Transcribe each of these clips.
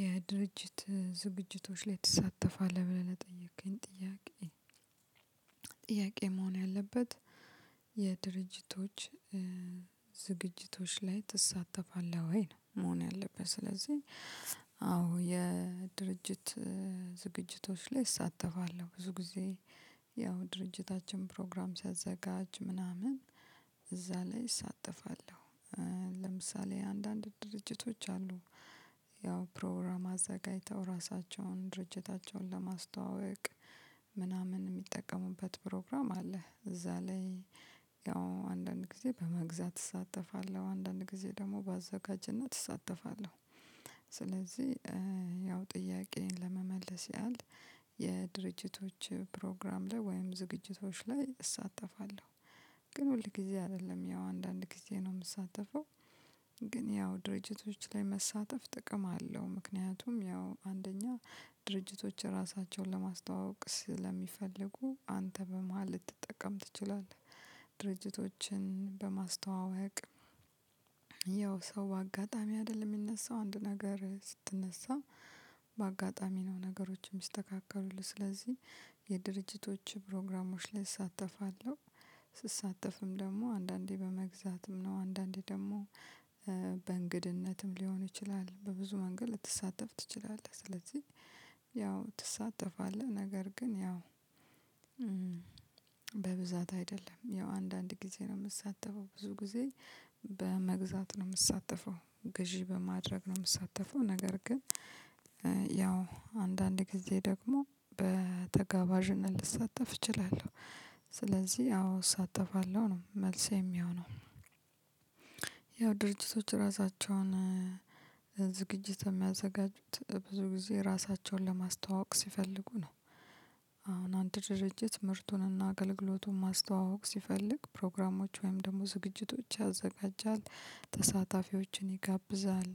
የድርጅት ዝግጅቶች ላይ ትሳተፋለህ ብለህ ለጠየከኝ ጥያቄ ጥያቄ መሆን ያለበት የድርጅቶች ዝግጅቶች ላይ ትሳተፋለህ ወይ ነው መሆን ያለብት? ስለዚህ አዎ የድርጅት ዝግጅቶች ላይ እሳተፋለሁ ብዙ ጊዜ ያው ድርጅታችን ፕሮግራም ሲያዘጋጅ ምናምን እዛ ላይ እሳጥፋለሁ። ለምሳሌ አንዳንድ ድርጅቶች አሉ ፕሮግራም አዘጋጅተው ራሳቸውን ድርጅታቸውን ለማስተዋወቅ ምናምን የሚጠቀሙበት ፕሮግራም አለ እዛ ላይ ያው አንዳንድ ጊዜ በመግዛት እሳተፋለሁ አንዳንድ ጊዜ ደግሞ በአዘጋጅነት እሳተፋለሁ። ስለዚህ ያው ጥያቄዬን ለመመለስ ያህል የድርጅቶች ፕሮግራም ላይ ወይም ዝግጅቶች ላይ እሳተፋለሁ ግን ሁል ጊዜ አይደለም ያው አንዳንድ ጊዜ ነው የምሳተፈው። ግን ያው ድርጅቶች ላይ መሳተፍ ጥቅም አለው ምክንያቱም ያው አንደኛ ድርጅቶች ራሳቸውን ለማስተዋወቅ ስለሚፈልጉ አንተ በመሃል ልትጠቀም ትችላለህ። ድርጅቶችን በማስተዋወቅ ያው ሰው በአጋጣሚ አይደለም የሚነሳው አንድ ነገር ስትነሳ በአጋጣሚ ነው ነገሮችም ሚስተካከሉልህ ስለዚህ የድርጅቶች ፕሮግራሞች ላይ እሳተፋለሁ። ስሳተፍም ደግሞ አንዳንዴ በመግዛትም ነው አንዳንዴ ደግሞ በእንግድነትም ሊሆን ይችላል በብዙ መንገድ ልትሳተፍ ትችላለህ። ስለዚህ ያው ትሳተፋለህ ነገር ግን ያው በብዛት አይደለም ያው አንዳንድ ጊዜ ነው የምሳተፈው ብዙ ጊዜ በመግዛት ነው የምሳተፈው ግዢ በማድረግ ነው የምሳተፈው ነገር ግን ያው አንዳንድ ጊዜ ደግሞ በተጋባዥነት ልሳተፍ እችላለሁ። ስለዚህ አዎ እሳተፋለሁ ነው መልስ የሚሆነው ያው ድርጅቶች ራሳቸውን ዝግጅት የሚያዘጋጁት ብዙ ጊዜ ራሳቸውን ለማስተዋወቅ ሲፈልጉ ነው። አሁን አንድ ድርጅት ምርቱንና አገልግሎቱን ማስተዋወቅ ሲፈልግ ፕሮግራሞች ወይም ደግሞ ዝግጅቶች ያዘጋጃል ተሳታፊዎችን ይጋብዛል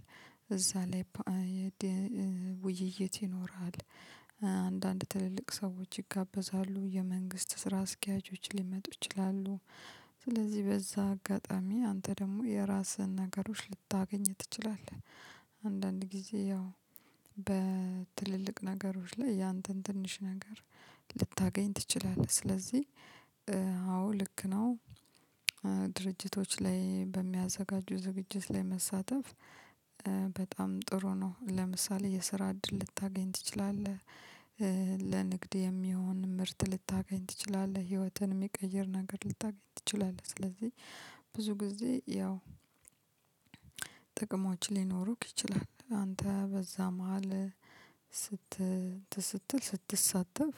እዛ ላይ ውይይት ይኖራል። አንዳንድ ትልልቅ ሰዎች ይጋበዛሉ የመንግስት ስራ አስኪያጆች ሊመጡ ይችላሉ ስለዚህ በዛ አጋጣሚ አንተ ደግሞ የራስህን ነገሮች ልታገኝ ትችላለህ። አንዳንድ ጊዜ ያው በትልልቅ ነገሮች ላይ ያንተን ትንሽ ነገር ልታገኝ ትችላለህ ስለዚህ አዎ ልክ ነው። ድርጅቶች ላይ በሚያዘጋጁ ዝግጅት ላይ መሳተፍ በጣም ጥሩ ነው ለምሳሌ የስራ እድል ልታገኝ ትችላለህ። ለንግድ የሚሆን ምርት ልታገኝ ትችላለህ ህይወትን የሚቀይር ነገር ልታገኝ ትችላለህ ስለዚህ ብዙ ጊዜ ያው ጥቅሞች ሊኖሩክ ይችላል። አንተ በዛ መሃል እንትን ስትል ስትሳተፍ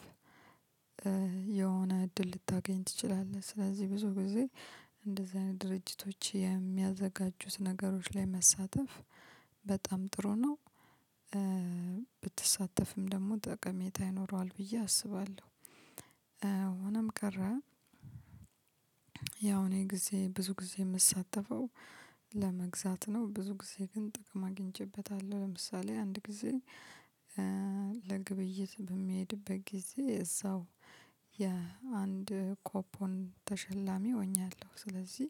የሆነ እድል ልታገኝ ትችላለህ ስለዚህ ብዙ ጊዜ እንደዚህ አይነት ድርጅቶች የሚያዘጋጁት ነገሮች ላይ መሳተፍ በጣም ጥሩ ነው። ብትሳተፍም ደግሞ ጠቀሜታ ይኖረዋል ብዬ አስባለሁ። ሆነም ቀረ ያው እኔ ጊዜ ብዙ ጊዜ የምሳተፈው ለመግዛት ነው ብዙ ጊዜ ግን ጥቅም አግኝቼበታለሁ ለምሳሌ አንድ ጊዜ ለግብይት በሚሄድበት ጊዜ እዛው የአንድ ኮፖን ተሸላሚ ሆኛለሁ። ስለዚህ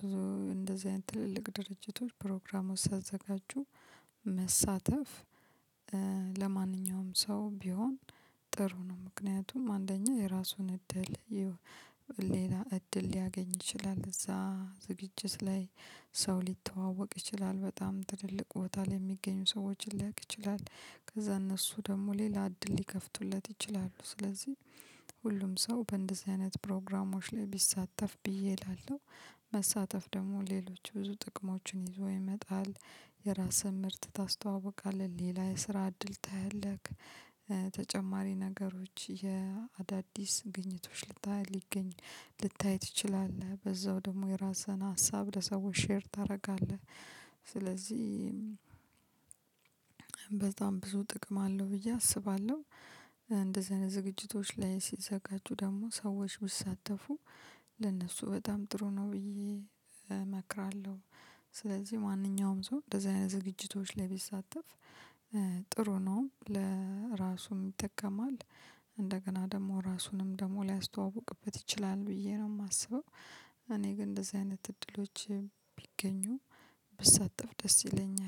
ብዙ እንደዚህ አይነት ትልልቅ ድርጅቶች ፕሮግራም ውስጥ ሲያዘጋጁ መሳተፍ ለማንኛውም ሰው ቢሆን ጥሩ ነው። ምክንያቱም አንደኛ የራሱን እድል ሌላ እድል ሊያገኝ ይችላል እዛ ዝግጅት ላይ ሰው ሊተዋወቅ ይችላል በጣም ትልልቅ ቦታ ላይ የሚገኙ ሰዎችን ሊያቅ ይችላል ከዛ እነሱ ደግሞ ሌላ እድል ሊከፍቱለት ይችላሉ ስለዚህ ሁሉም ሰው በእንደዚህ አይነት ፕሮግራሞች ላይ ቢሳተፍ ብዬ እላለሁ። መሳተፍ ደግሞ ሌሎች ብዙ ጥቅሞችን ይዞ ይመጣል የራስህን ምርት ታስተዋውቃለህ ሌላ የስራ እድል ታያለህ። ተጨማሪ ነገሮች የአዳዲስ ግኝቶች ልታይ ሊገኝ ልታይ ትችላለህ በዛው ደግሞ የራስህን ሀሳብ ለሰዎች ሼር ታደርጋለህ ስለዚህ በጣም ብዙ ጥቅም አለው ብዬ አስባለሁ። እንደዚህ አይነት ዝግጅቶች ላይ ሲዘጋጁ ደግሞ ሰዎች ቢሳተፉ ለነሱ በጣም ጥሩ ነው ብዬ እመክራለሁ። ስለዚህ ማንኛውም ሰው እንደዚህ አይነት ዝግጅቶች ላይ ቢሳተፍ ጥሩ ነው ለራሱም ይጠቀማል። እንደገና ደግሞ ራሱንም ደግሞ ሊያስተዋውቅበት ይችላል ብዬ ነው የማስበው። እኔ ግን እንደዚህ አይነት እድሎች ቢገኙ ብሳተፍ ደስ ይለኛል